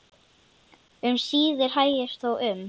Um síðir hægist þó um.